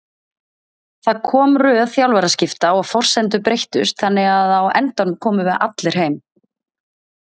Það kom röð þjálfaraskipta og forsendur breyttust þannig að á endanum komum við allir heim.